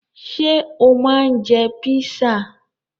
Ṣé o máa ń jẹ písà?